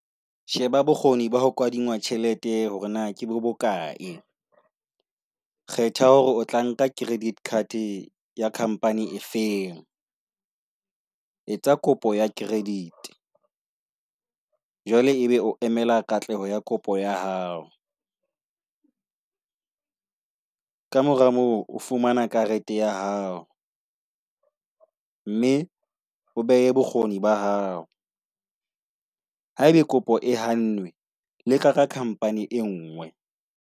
Sheba bokgoni ba ho kadingwa tjhelete hore na ke bokae. Kgetha hore o tla nka credit card ya company efeng. Etsa kopo ya credit . Jwale ebe o emela katleho ya kopo ya hao. Ka mora moo o fumana karete ya hao , mme o behe bokgoni ba hao. Haebe kopo e hannwe, leka ka khampani e nngwe.